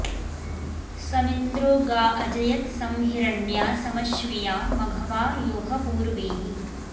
समिन्द्रो गा अजयत्सं हिरण्या समश्विया मघवा यो ह पूर्वीः